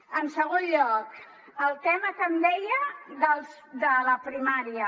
en segon lloc el tema que em deia de la primària